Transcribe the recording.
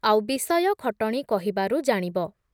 ଆଉ ବିଷୟ ଖଟଣି କହିବାରୁ ଜାଣିବ ।